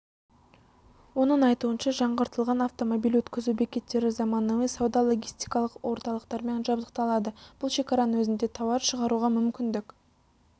оның айтуынша жаңғыртылған автомобиль өткізу бекеттері заманауи сауда-логистикалық орталықтармен жабдықталады бұл шекараның өзінде тауар шығаруға мүмкіндік